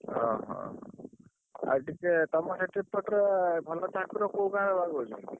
ଓହୋ ଆଉ ଟିକେ ତମ ସେପଟରେ ଭଲ ଠାକୁର କୋଉ ଗାଁ ରେଭଲ ଦଉଛନ୍ତି?